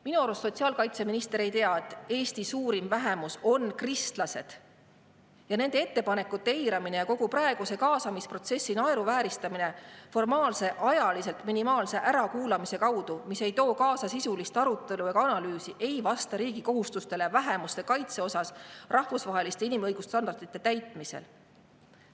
Minu arust sotsiaalkaitseminister ei tea, et Eesti suurim vähemus on kristlased ja nende ettepanekute eiramine ja kogu praeguse kaasamisprotsessi naeruvääristamine formaalse, ajaliselt minimaalse ärakuulamise kaudu, mis ei too kaasa sisulist arutelu ega analüüsi, ei vasta riigi kohustustele vähemuste kaitse osas rahvusvaheliste inimõigusstandardite täitmisel.